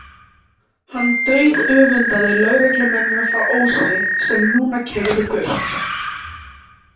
Hann dauðöfundaði lögreglumennina frá Ósi sem núna keyrðu burt.